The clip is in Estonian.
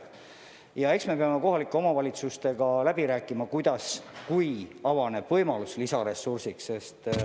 Ja eks me peame kohalike omavalitsustega läbi rääkima, kuidas edasi, kui avaneb võimalus lisaressursiks.